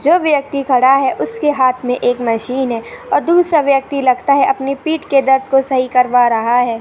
जो व्यक्ति खड़ा है। उसके हाथ मे एक मशीन है। और दूसरा व्यक्ति लगता है। अपनी पीठ के दर्द को सही करवा रहा है।